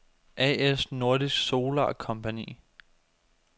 A/S Nordisk Solar Compagni